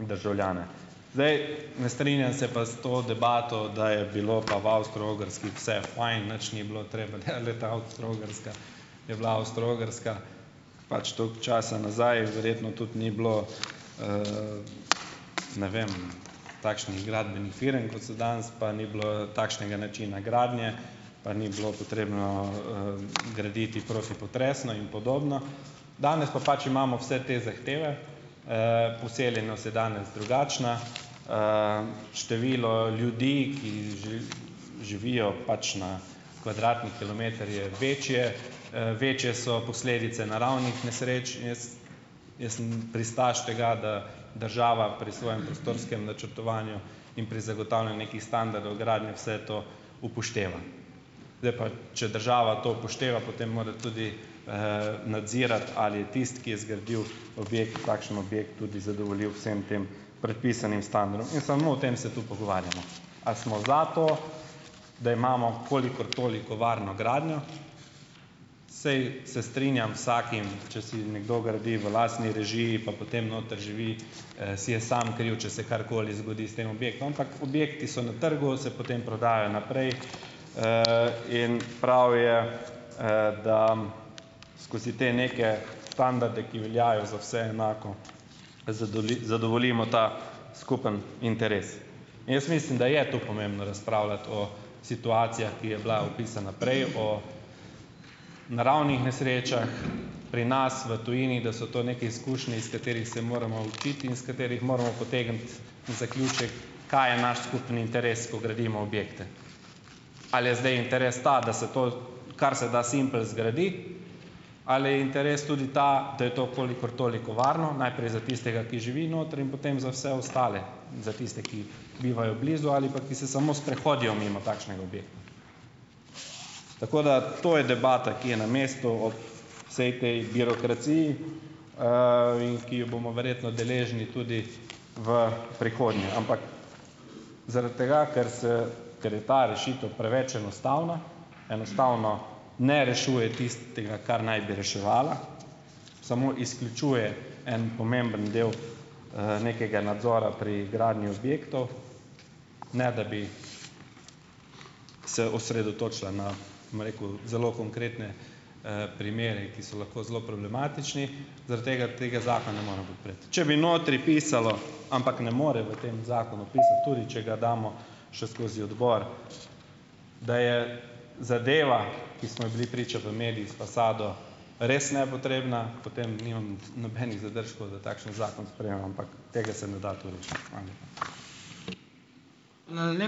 državljane. Zdaj, ne strinjam se pa s to debato, da je bilo pa v Avstro-Ogrski vse fajn, nič ni bilo treba. Ja, glejte Avstro-Ogrska je bila Avstro-Ogrska pač toliko časa nazaj, verjetno tudi ni bilo, ne vem, takšnih gradbenih firm, kot so danes, pa ni bilo takšnega načina gradnje, pa ni bilo potrebno, graditi protipotresno in podobno, danes pa pač imamo vse te zahteve, poseljenost je danes drugačna, število ljudi, ki živijo pač na kvadratni kilometer je večje, večje so posledice naravnih nesreč, jaz jaz sem pristaš tega, da država pri svojem prostorskem načrtovanju in pri zagotavljanju nekih standardov gradnje vse to upošteva. Zdaj pa, če država to upošteva, potem mora tudi, nadzirati ali tisti, ki je zgradil objekt, takšen objekt tudi zadovolji vsem tem predpisanim standardom in samo o tem se tu pogovarjamo, ali smo za to, da imamo kolikor toliko varno gradnjo. Saj se strinjam vsakim, če si nekdo gradi v lastni režiji, pa potem noter živi, si je sam kriv, če se karkoli zgodi s tem objektom, ampak objekti so na trgu, se potem prodajajo naprej, in prav je, da skozi te neke standarde, ki veljajo za vse enako, zadovoljimo ta skupni interes. Jaz mislim, da je to pomembno razpravljati o situacijah, ki je bila opisana prej, o naravnih nesrečah, pri nas v tujini, da so to neke izkušnje, iz katerih se moramo učiti in iz katerih moramo potegniti zaključek, kaj je naš skupni interes, ko gradimo objekte. Ali je zdaj interes ta, da se to kar se da simpel zgradi, ali je interes tudi ta, da je to kolikor toliko varno, najprej za tistega, ki živi notri, in potem za vse ostale in za tiste, ki bivajo blizu ali pa, ki se samo sprehodijo mimo takšnega objekta. Tako da, to je debata, ki je na mestu ob vsej tej birokraciji, in ki jo bomo verjetno deležni tudi v prihodnje, ampak zaradi tega, ker se ker je ta rešitev preveč enostavna, enostavno ne rešuje tistega kar naj bi reševala, samo izključuje en pomemben del, nekega nadzora pri gradnji objektov, ne da bi se osredotočila na, bom rekel, zelo konkretne, primere, ki so lahko zelo problematični, zaradi tega tega zakona ne morem podpreti. Če bi notri pisalo, ampak ne more v tem zakonu pisati, tudi če ga damo še skozi odbor, da je zadeva, ki smo ji bili priča v medijih, s fasado res nepotrebna, potem nimam nobenih zadržkov, da takšen zakon sprejmem, ampak tega se ne da tu rešiti. Hvala lepa.